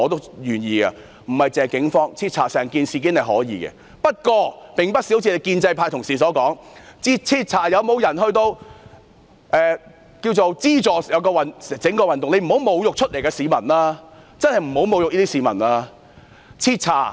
政府可以徹查整宗事件，但不是如建制派同事所說，徹查是否有人資助整個示威活動，請不要侮辱站出來的市民，真的不要侮辱他們。